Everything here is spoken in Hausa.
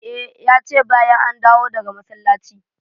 E, ya ce bayan an dawo daga masallaci.